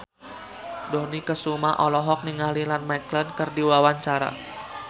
Dony Kesuma olohok ningali Ian McKellen keur diwawancara